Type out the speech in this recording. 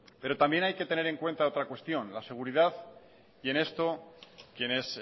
pero también hay que tener en cuenta otra cuestión la seguridad y en esto quienes